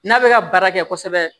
N'a bɛ ka baara kɛ kosɛbɛ